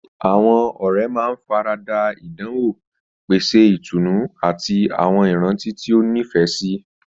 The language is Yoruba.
Àwọn ọ̀rẹ́ máa ń fara da ìdánwò, pèsè ìtùnú, àti àwọn ìrántí tí ó nífẹ̀ẹ́ sí.